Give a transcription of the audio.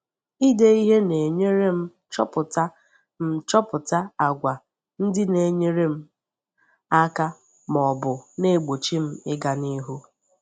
Ide ihe na-enyere m chọpụta m chọpụta àgwà ndị na-enyere m aka ma ọ bụ na-egbochi m ịga n’ihu.